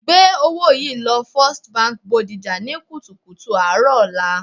Gbé owó yìí lọ First Bank Bodija ní kùtù hàì ọ̀la